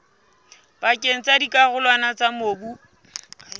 pakeng tsa dikarolwana tsa mobu